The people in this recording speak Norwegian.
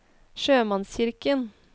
sjømannskirken